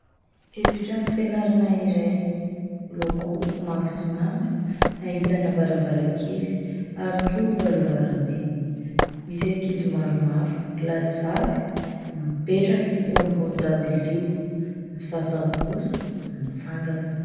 Efitrano fianarana iray miloko mavo sy manga ahitana varavaran-kely ary koa varavaram-be, misy ankizy maromaro lahy sy vavy mipetraka eo ambony dabilio, ny sasany kosa mitsangana.